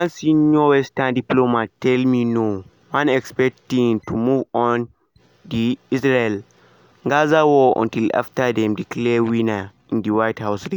one senior western diplomat tell me no-one expect tins to move on the israel-gaza war until afta dem declare winner in di white house race.